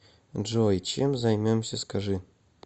джой чем займемся скажи